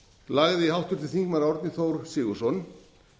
lagði háttvirtur þingmaður árni þór sigurðsson